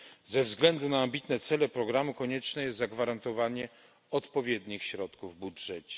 Ze względu na ambitne cele programu konieczne jest zagwarantowanie odpowiednich środków w budżecie.